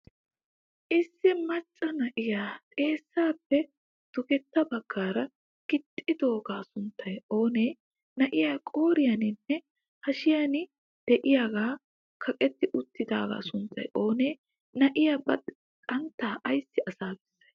Issi maccaa naa7iya xeessappe dugeta baggara giixxidogaa sunttay oone? Naa7e qooriyaninne hashshiyan de7iya kaqqeti uttidagaa sunttay oone? Naa7iya ba xantta aysi asaa beessay?